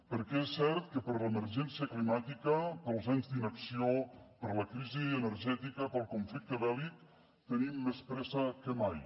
perquè és cert que per l’emergència climàtica pels anys d’inacció per la crisi energètica pel conflicte bèl·lic tenim més pressa que mai